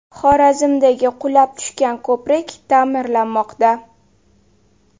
Xorazmdagi qulab tushgan ko‘prik taʼmirlanmoqda.